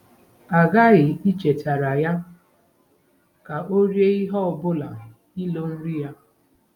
A ghaghị ichetara ya ka ọ rie ihe - ọbụna ilo nri ya.